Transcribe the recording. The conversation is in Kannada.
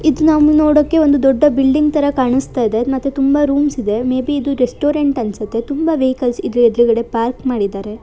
ಇದು ನಾವು ನೋಡೋಕೆ ಒಂದು ದೊಡ್ಡ ಬಿಲ್ಡಿಂಗ್ ತರ ಕಾಣಿಸ್ತಾ ಇದೆ ಮತ್ತೆ ತುಂಬಾ ರೂಮ್ಸ್ ಇದೆ ಮೇ ಬಿ ಇದು ರೆಸ್ಟೋರೆಂಟ್ ಅನಿಸುತ್ತೆ ತುಂಬಾ ವೆಹಿಕಲ್ಸ್ ಇದರ ಎದುರುಗಡೆ ಪಾರ್ಕ್ ಮಾಡಿದ್ದಾರೆ.